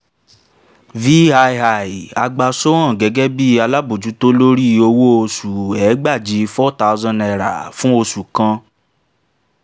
vii a gba sohan gẹ́gẹ́ bí alábòójútó lórí owó oṣù ẹgbàajì for thousand naira fún oṣù kan